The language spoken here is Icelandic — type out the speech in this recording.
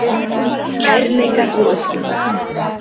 Kærleikar á Austurvelli